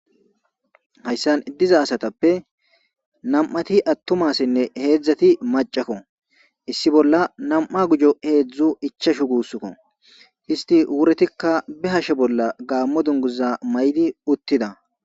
hayssan iddiza asatappe nam'ati attuma asinne heedzdzati macakko issi bolla nam'u gujo heedzdzu ichashu guusskko histi wuretikka be hashe bolla gaammo duniguza mayid uttida